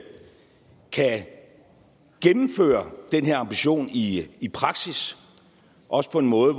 kan gennemføre den her ambition i i praksis og også på en måde